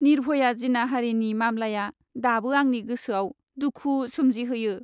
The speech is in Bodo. निर्भया जिनाहारिनि मामलाया दाबो आंनि गोसोआव दुखु सोमजिहोयो।